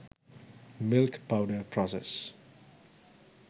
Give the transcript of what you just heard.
milk powder process